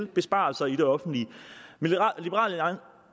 besparelser i det offentlige men